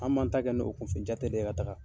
An'an ta kɛ n'o kun fɛ jate den yen ten ka taaga